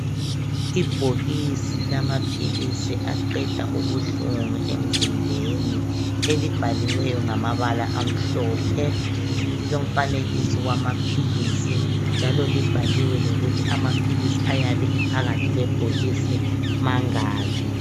Ibhokisi lamaphilisi aqeda ubuhlungu emzimbeni elibhaliweyo ngamabala amhlophe lilomfanekiso wamaphilisi njalo libhaliwe lokuthi amaphilisi ayabe ephakathi kwebhokisi mangaki.